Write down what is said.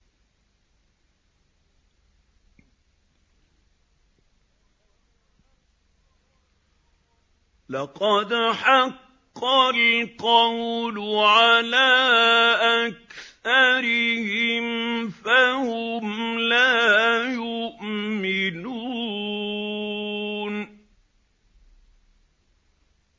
لَقَدْ حَقَّ الْقَوْلُ عَلَىٰ أَكْثَرِهِمْ فَهُمْ لَا يُؤْمِنُونَ